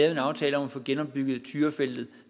en aftale om at få genopbygget tyrafeltet